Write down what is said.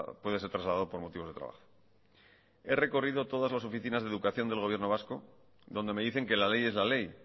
puede ser trasladado por motivos de trabajo he recorrido todas las oficinas de educación del gobierno vasco donde me dicen que la ley es la ley